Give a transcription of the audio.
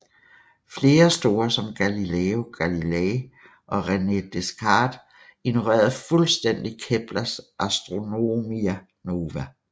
Flere store som Galileo Galilei og René Descartes ignorerede fuldstændigt Keplers Astronomia nova